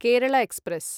Kerala express